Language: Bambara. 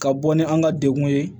Ka bɔ ni an ka degun ye